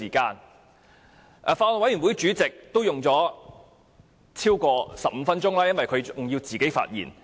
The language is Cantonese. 剛才法案委員會主席發言用了15分鐘以上，因為她還要發表個人意見。